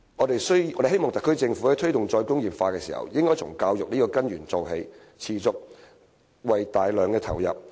特區政府在推動"再工業化"時，應從教育這根源做起，持續而大量地投入資源。